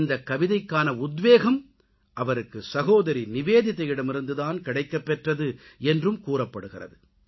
இந்தக்கவிதைக்கான உத்வேகம் அவருக்கு சகோதரி நிவேதிதாயிடமிருந்து தான் கிடைக்கப்பெற்றது என்றும் கூறப்படுகிறது